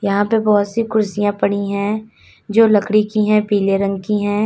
यहां पे बहुत सी कुर्सियां पड़ी हैं जो लकड़ी की हैं पीले रंग की हैं।